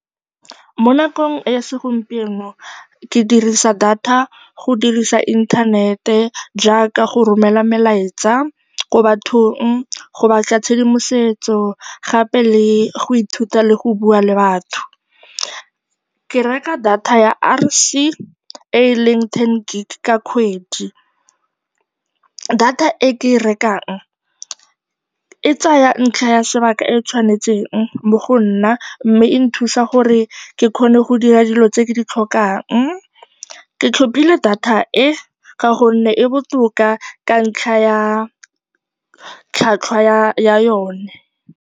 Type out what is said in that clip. Mo nakong ya segompieno ke dirisa data go dirisa inthanete jaaka go romela melaetsa ko bathong, go batla tshedimosetso gape le go ithuta le go bua le batho. Ke reka data ya R_C e e leng ten gig ka kgwedi. Data e ke e rekang e tsaya ntlha ya sebaka e e tshwanetseng mo go nna mme e nthusa gore ke kgone go dira dilo tse ke di tlhokang. Ke tlhophile data e ka gonne e botoka ka ntlha ya tlhwatlhwa ya yone.